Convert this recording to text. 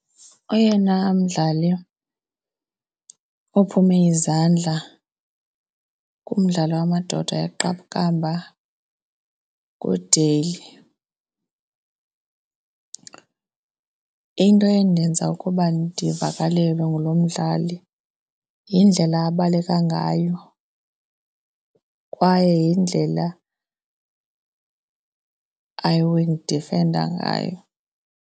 Oyena mdlali ophume izandla kumdlalo wamadoda yeqakamba nguDale. Into endenza ukuba ndivakalelwe ngulo mdlali yindlela abaleka ngayo kwaye yindlela awayendidifenda ngayo.